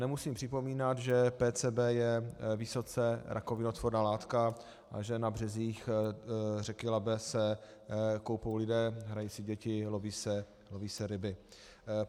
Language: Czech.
Nemusím připomínám, že PCB je vysoce rakovinotvorná látka a že na březích řeky Labe se koupou lidé, hrají si děti, loví se ryby.